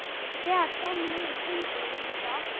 Og þegar fram liðu stundir urðu þau ástfangin.